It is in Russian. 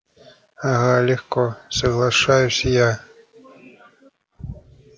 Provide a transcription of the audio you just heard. ага легко соглашаюсь я